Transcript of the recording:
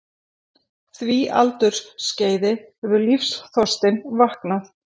því aldursskeiði hefur lífsþorstinn vaknað.